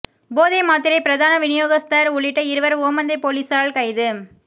போதை மாத்திரை பிரதான விநியோகஸ்தர் உள்ளிட்ட இருவர் ஓமந்தைப் பொலிசாரால் கைது